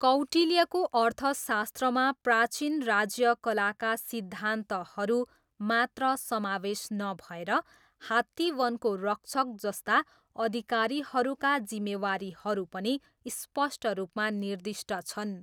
कौटिल्यको अर्थशास्त्रमा प्राचीन राज्यकलाका सिद्धान्तहरू मात्र समावेश नभएर हात्तीवनको रक्षक जस्ता अधिकारीहरूका जिम्मेवारीहरू पनि स्पष्ट रूपमा निर्दिष्ट छन्।